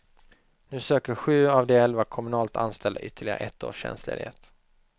Nu söker sju av de elva kommunalt anställda ytterligare ett års tjänstledighet.